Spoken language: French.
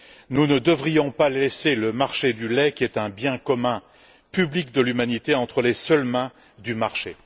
Nous ne devrions pas laisser le marché du lait, qui est un bien commun public de l'humanité, entre les seules mains du marché.